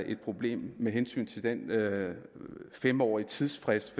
et problem med hensyn til den fem årige tidsfrist